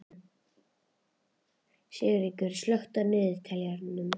Sigríkur, slökktu á niðurteljaranum.